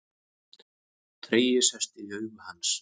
Tregi sest í augu hans.